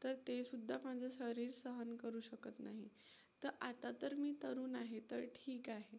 तर तेसुद्धा माझं शरीर सहन करू शकत नाही. तर आता तर मी तरुण आहे, तर ठीक आहे.